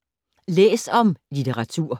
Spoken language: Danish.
Læs om litteratur